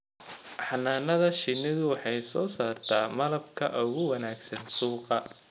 Xannaanada shinnidu waxay soo saartaa malabka ugu wanaagsan suuqa.